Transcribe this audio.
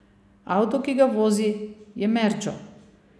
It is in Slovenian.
Avto, ki ga vozi, je merdžo.